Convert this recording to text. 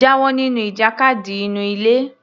Jáwọ nínú ìjàkadì inú ilé